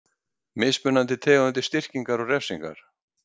Mismunandi tegundir styrkingar og refsingar.